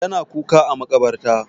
Ya na kuka a maƙabarta.